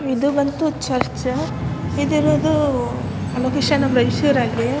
ಇದು ಬಂದು ಚರ್ಚ್ ಇದು ಇರೋದು ಬಹುಶಹ ನಮ್ ರಾಯಚೂರಲ್ಲಿ ಅಲ್ಲಿ.